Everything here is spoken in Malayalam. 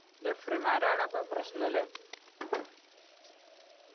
referee മാരാണ് ഇപ്പൊ പ്രശ്‌നല്ലേ.